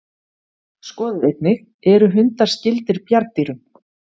Skoðið einnig: Eru hundar skyldir bjarndýrum?